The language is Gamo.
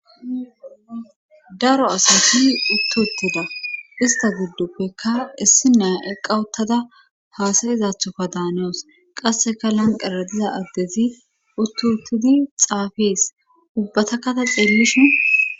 Daro asati uttuuttida ista guddoppeka issi naa eqawuttada haasayizathoka daanoos qasseka lanqeradiza addezi uttuuttidi xaafees ubbata kata xeellishin